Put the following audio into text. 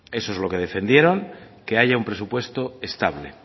eso es lo que defendieron que haya un presupuesto estable